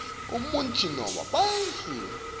umuntfu nobe bantfu